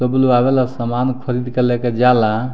सब बुलवावे ला सामान खरीद के लेके जाला।